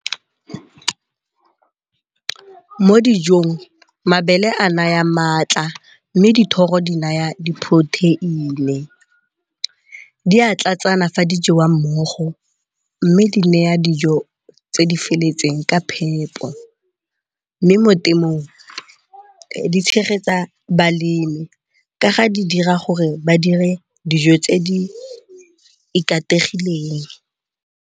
Mo dijong mabele a naya maatla mme dithoro di naya di-protein . Di a tlatsana fa di jewa mmogo mme di naya dijo tse di feletseng ka phepo, mme mo temong di tshegetsa balemi ka ga di dira gore ba dire dijo tse di ikategileng.